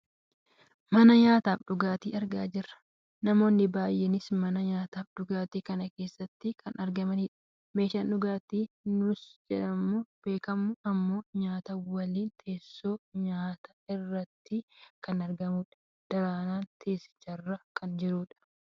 mana nyaataaf dhugaatii argaa jirra. namoonni baayyeenis mana nyaataaf dhugaatii kana keessatti kan argamanidha. meeshaan dhugaatii nugus jedhamuun beekamu ammoo nyaata waliin teessoo nyaataa irratti kan argamudha. daraaraanis teessicharra kan jirudha.